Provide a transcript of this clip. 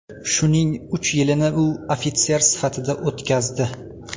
Shuning uch yilini u ofitser sifatida o‘tkazdi.